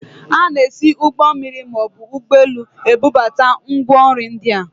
A na-esi ụgbọ mmiri maọbụ ụgbọelu ebubata ngwa nri ndị a